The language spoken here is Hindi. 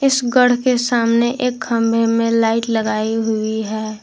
इस घड़ के सामने एक कमरे में लाइट लगाई हुई है।